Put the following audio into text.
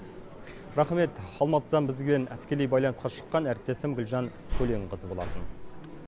рақмет алматыдан бізге тікелей байланысқа шыққан әріптесім гүлжан көленқызы болатын